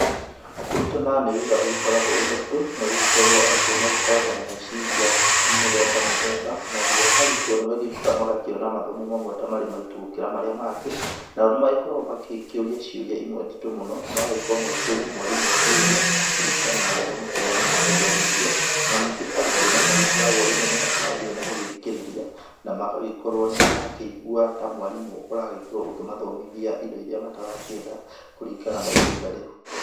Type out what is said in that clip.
Kũrũtana nĩ wĩra ũgĩkoragwa wĩ mũrĩtu, na gũgĩkorwo arũtwo magĩkoragwo na meciria mĩtheba mĩtheba, naguo arũtwo nĩ magiũkaga magakĩona mathomo mamwe ta marĩ maritũ gũkĩra marĩa mangĩ, nao nĩmakoragwo magĩkĩũria ciuria imwe nditũ mũno magagĩkorwo magĩkĩũria mwarimũ ciũria kũringana na gĩthomo kĩrĩa maragĩthomithwo na ningĩ arũtwo magagĩkorwo nĩmakĩnogire nĩgũgĩthikĩriria na magagĩkorwo nĩ marakĩigua ta mwarimu ũragĩkorwo ũkĩmathomithia indo iria matara kĩenda kũringana na ihinda rĩu.